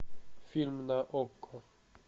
фильм на окко